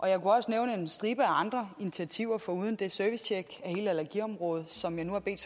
jeg kunne også nævne en stribe af andre initiativer foruden det servicetjek af hele allergiområdet som jeg nu har bedt